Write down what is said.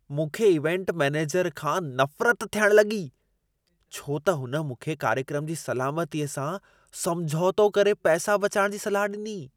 मूंखे event manager खां नफ़रत थियण लॻी छो त हुन मूंखे कार्यक्रम जी सलामतीअ सां समझौतो करे पैसा बचाइण जी सलाह ॾिनी।